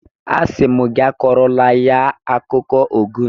Asị m gị akọrọla ya akụkọ Ogun!